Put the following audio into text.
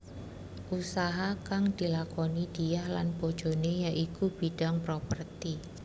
Usaha kang dilakoni Diah lan bojoné ya iku bidhang properti